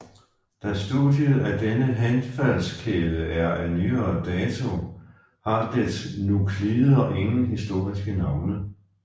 Da studiet af denne henfaldskæde er af nyere dato har dets nuklider ingen historiske navne